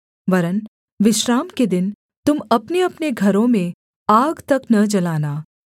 वरन् विश्राम के दिन तुम अपनेअपने घरों में आग तक न जलाना